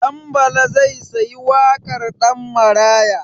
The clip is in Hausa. Ɗanbala zai sayi wakar Ɗanmaraya.